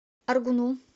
аргуну